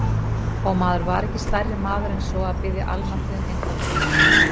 Og maður var ekki stærri maður en svo að biðja almættið um einfaldara líf.